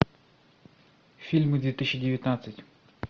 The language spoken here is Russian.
фильмы две тысячи девятнадцать